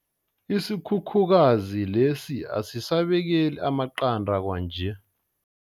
Isikhukhukazi lesi asisabekeli amaqanda kwanje.